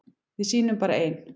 Við sýnum bara ein